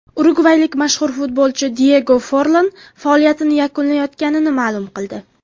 Urugvaylik mashhur futbolchi Diyego Forlan faoliyatini yakunlayotganini ma’lum qildi.